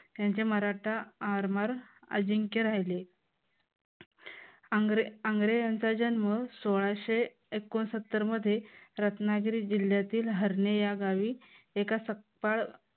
त्यांचे मराठा आरमार अजिंक्य राहिले. आंग्रे यांचा जन्म सोळाशे एकोंनसत्तर मध्ये रत्नागिरी जिल्ह्यातील हरणे या गावी एका सपकाळ